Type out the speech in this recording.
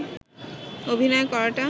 অভিনয় করাটা